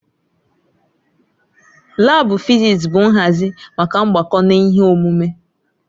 Laabu fịzịs bụ nhazi maka mgbako na ihe omume.